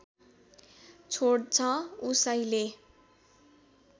छोड्छ उसैले